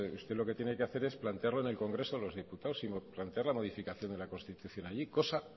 usted lo que tiene que hacer es plantearlo en el congreso de los diputados y plantear la modificación de la constitución allí cosa